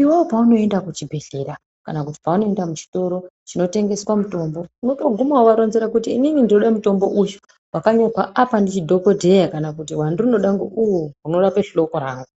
Iwewe paunoenda kuchibhedhlera, kana paunoenda muchitoro chinotengeswa mitombo, unotoguma wovaronzera kuti, inini ndinoda mitombo uyu, wakanyorwa apa ndidhokodheya ,kana kuti wandinoda ngouyo, unorape hloko rangu.